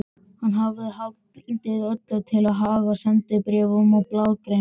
Hann hafði haldið öllu til haga, sendibréfum og blaðagreinum.